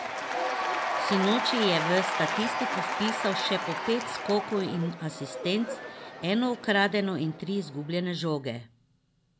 Sinoči je v statistiko vpisal še po pet skokov in asistenc, eno ukradeno in tri izgubljene žoge.